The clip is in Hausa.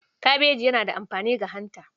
Kabeji yana da amfani ga hanta.